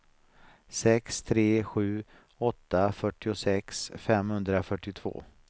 sex tre sju åtta fyrtiosex femhundrafyrtiotvå